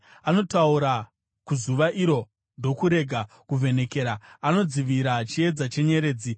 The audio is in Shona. Anotaura kuzuva iro ndokurega kuvhenekera; anodzivira chiedza chenyeredzi.